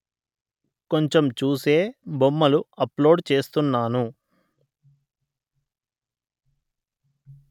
కొంచెం చూసే బొమ్మలు అప్లోడ్ చేస్తున్నాను